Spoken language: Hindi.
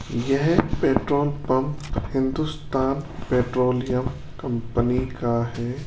यह petrol pump Hindustan petroleum company का है।